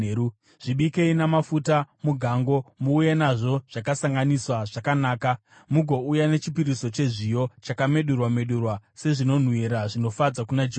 Zvibikei namafuta mugango. Muuye nazvo zvakasanganiswa zvakanaka, mugouya nechipiriso chezviyo chakamedurwa-medurwa sezvinonhuhwira zvinofadza kuna Jehovha.